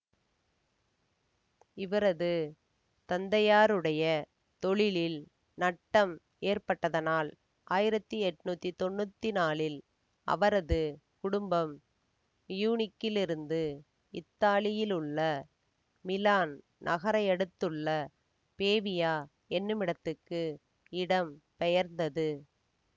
இவரது தந்தையாருடைய தொழிலில் நட்டம் ஏற்பட்டதனால் ஆயிரத்தி எண்ணூற்றி தொன்னூற்தி நாழில் அவரது குடும்பம் மியூனிக்கிலிருந்து இத்தாலியிலுள்ள மிலான் நகரையடுத்துள்ள பேவியா என்னுமிடத்துக்கு இடம் பெயர்ந்தது